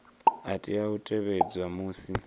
a tea u tevhedzwa musi